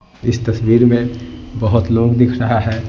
इस तस्वीर में बहुत लोग दिख रहा है।